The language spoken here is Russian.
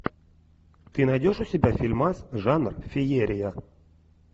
ты найдешь у себя фильмас жанр феерия